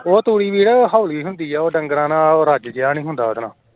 ਉਹ ਤੂੜੀ ਵੀ ਹੋਲੀ ਹੁੰਦੀ ਏ ਡੰਗਰਾਂ ਨਾਲ ਰੱਜ ਜੇਹਾ ਨਹੀਂ ਹੁੰਦਾ ਉਹਦੇ ਨਾਲ